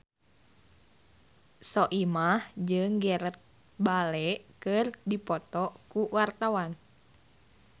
Soimah jeung Gareth Bale keur dipoto ku wartawan